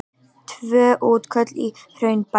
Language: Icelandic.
Tvö útköll í Hraunbæ